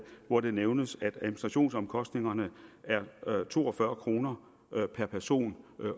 hvor det nævnes at administrationsomkostningerne er to og fyrre kroner per person